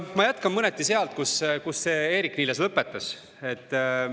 Ma jätkan mõneti sealt, kus Eerik-Niiles lõpetas.